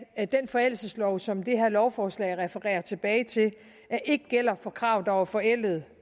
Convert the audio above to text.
at den forældelseslov som det her lovforslag refererer tilbage til ikke gælder for krav der var forældede